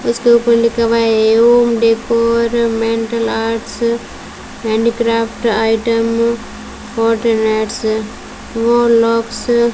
उसके ऊपर लिखा हुआ है A Om decor mental arts handicraft item व लॉक्स --